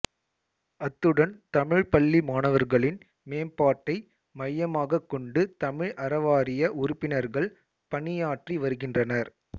அத்துடன் தமிழ்ப்பள்ளி மாணவர்களின் மேம்பாட்டை மையமாகக் கொண்டு தமிழ் அறவாரிய உறுப்பினர்கள் பணியாற்றி வருகின்றனர்